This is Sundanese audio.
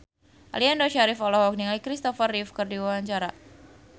Aliando Syarif olohok ningali Christopher Reeve keur diwawancara